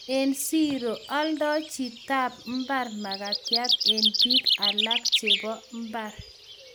Eng siro, oldoi chitap mbar mkatiat eng biik alak chebo imbar